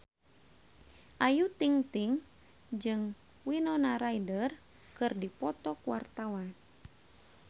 Ayu Ting-ting jeung Winona Ryder keur dipoto ku wartawan